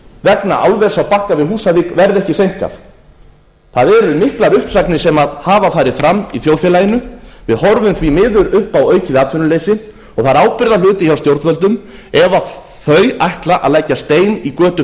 vegna álvers á bakka við húsavík verði ekki seinkað það eru miklar uppsagnir sem hafa farið fram í þjóðfélaginu við horfum því miður upp á aukið atvinnuleysi og það er ábyrgðarhluti hjá stjórnvöldum ef þau ætla að leggja stein í götu